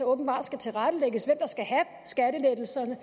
åbenbart skal tilrettelægges og der skal have skattelettelserne